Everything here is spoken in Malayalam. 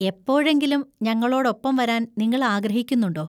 എപ്പോഴെങ്കിലും ഞങ്ങളോടൊപ്പം വരാൻ നിങ്ങൾ ആഗ്രഹിക്കുന്നുണ്ടോ?